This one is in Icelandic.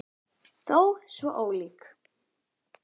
Þó svo ólík.